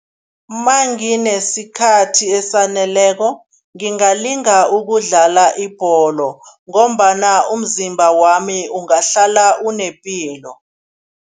Manginesikhathi esaneleko, ngingalinga ukudlala ibholo ngombana umzimba wami ungahlala unepilo.